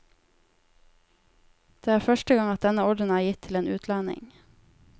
Det er første gang at denne ordenen er gitt til en utlending.